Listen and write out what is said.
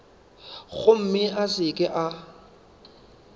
gomme a se ke a